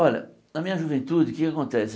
Olha, na minha juventude, o que é que acontece?